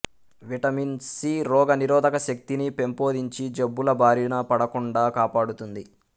vitamin C రోగనిరోధకశక్తిని పెంపొందించి జబ్బుల బారిన పడకుండా కాపాడుతుంది